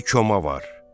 Bir koma var.